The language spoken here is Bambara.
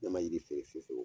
Ne ma yiri foro si feere